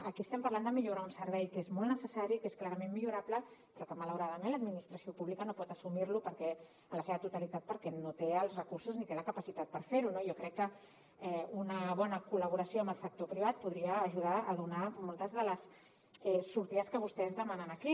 aquí estem parlant de millorar un servei que és molt necessari que és clarament millorable però que malauradament l’administració pública no pot assumir en la seva totalitat perquè no té els recursos ni té la capacitat per fer ho no jo crec que una bona col·laboració amb el sector privat podria ajudar a donar moltes de les sortides que vostès demanen aquí